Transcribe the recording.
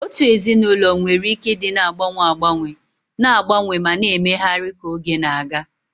Otu ezinụlọ nwere ike ịdị na-agbanwe agbanwe, na-agbanwe ma na-emegharị ka oge na-aga.